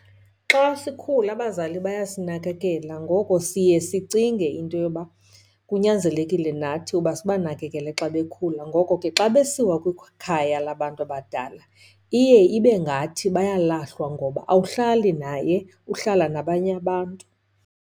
Xa sikhula abazali bayasinakekela ngoko siye sicinge into yoba kunyanzelekile nathi uba sibanakekele xa bekhula, ngoko ke xa besiwa kwikhaya labantu abadala iye ibe ngathi bayalahlwa. Ngoba awuhlali naye, uhlala nabanye abantu.